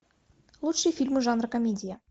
лучшие фильмы жанра комедия